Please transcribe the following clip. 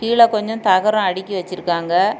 கீழ கொஞ்சம் தகரம் அடுக்கி வச்சிருக்காங்க.